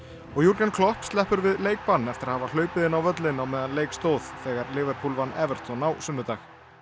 og Jürgen Klopp sleppur við leikbann eftir að hafa hlaupið inn á völlinn á meðan leik stóð þegar Liverpool vann Everton á sunnudag